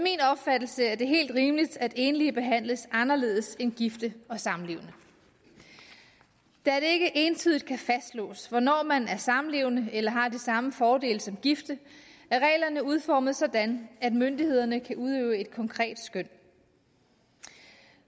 opfattelse er det helt rimeligt at enlige behandles anderledes end gifte og samlevende da det ikke entydigt kan fastslås hvornår man er samlevende eller har de samme fordele som gifte er reglerne udformet sådan at myndighederne kan udøve et konkret skøn